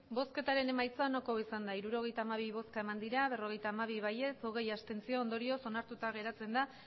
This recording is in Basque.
emandako botoak hirurogeita hamabi bai berrogeita hamabi abstentzioak hogei ondorioz onartuta geratzen da